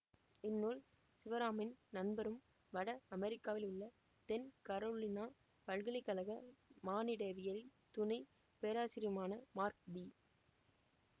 இந்நூல் சிவராமின் நண்பரும் வட அமெரிக்காவில் உள்ள தென் கரோலினா பல்கலை கழக மானிடவியல் துணை பேராசிரியருமான மார்க் பி